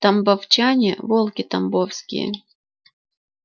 тамбовчане волки тамбовские